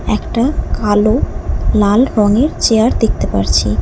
একটা কালো লাল রঙের চেয়ার দেখতে পারছি।